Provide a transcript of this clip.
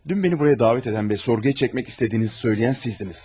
Dünn məni buraya dəvət edən və sorğuya çəkmək istədiyinizi söyləyən sizdiniz.